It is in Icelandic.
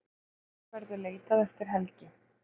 Beggja verður leitað eftir helgi.